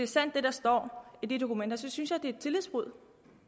sandt hvad der står i de dokumenter synes jeg det er et tillidsbrud